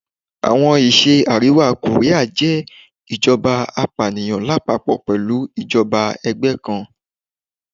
Awọn iṣẹ Ariwa koria jẹ ijọba apaniyan lapapọ pẹlu ijọba ẹgbẹ kan